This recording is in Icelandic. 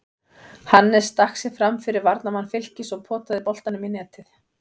Hannes stakk sér framfyrir varnarmann Fylkis og potaði boltanum í netið.